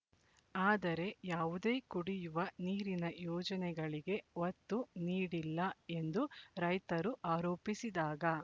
ಆದರೆ ಯಾವುದೇ ಕುಡಿಯುವ ನೀರಿನ ಯೋಜನೆಗಳಿಗೆ ಒತ್ತು ನೀಡಿಲ್ಲ ಎಂದು ರೈತರು ಆರೋಪಿಸಿದಾಗ